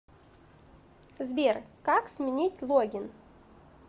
сбер как сменить логин